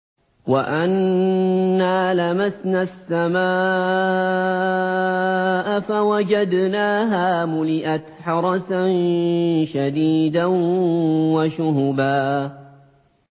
وَأَنَّا لَمَسْنَا السَّمَاءَ فَوَجَدْنَاهَا مُلِئَتْ حَرَسًا شَدِيدًا وَشُهُبًا